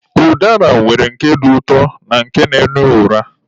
Ụdara nwere nke dị ụtọ na nke na-ama ụra.